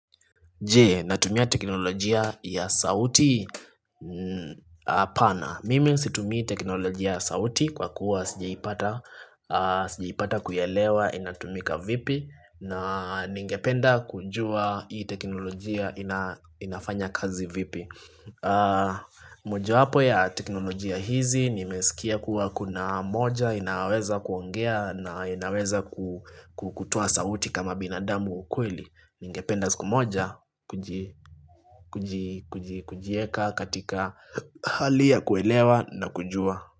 Jee, natumia teknolojia ya sauti Apana Mimi situmii teknolojia ya sauti Kwa kuwa sijaipata Sijaipata kuyaelewa inatumika vipi na ningependa kujua Hii teknolojia inafanya kazi vipi moja wapo ya teknolojia hizi Nimesikia kuwa kuna moja inaweza kuongea na inaweza kutoa sauti kama binadamu ukweli Ningependa siku moja kuji kujieka katika hali ya kuelewa na kujua.